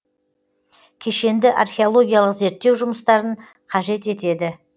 кешенді археологиялық зерттеу жұмыстарын қажет етеді